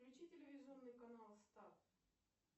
включи телевизионный канал старт